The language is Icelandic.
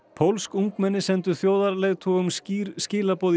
pólsk ungmenni sendu þjóðarleiðtogum skýr skilaboð